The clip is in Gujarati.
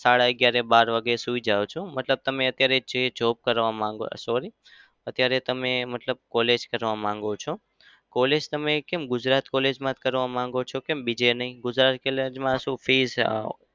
સાડા અગિયારે-બાર વાગે સુઈ જાવ છું? મતલબ તમે અત્યારે જે job કરવા માંગો sorry અત્યારે તમે મતલબ college કરવા માંગો છો? college તમે કેમ ગુજરાત college માં જ કરવા માંગો છો? કેમ બીજે નહિ ગુજરાત college માં શું fees અમ